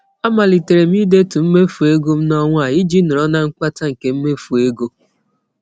A malitere m ị detu mmefu ego m n'ọnwa a iji nọrọ na mkpata nke mmefu ego.